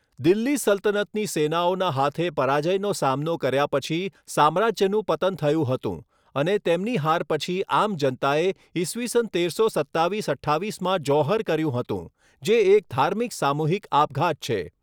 દિલ્હી સલ્તનતની સેનાઓના હાથે પરાજયનો સામનો કર્યા પછી સામ્રાજ્યનું પતન થયું હતું, અને તેમની હાર પછી આમ જનતાએ ઈસવીસન તેરસો સત્તાવીસ અઠ્ઠાવીસમાં જૌહર કર્યું હતું, જે એક ધાર્મિક સામૂહિક આપઘાત છે.